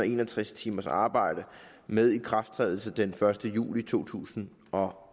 en og tres timers arbejde med ikrafttrædelse den første juli to tusind og